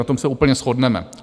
Na tom se úplně shodneme.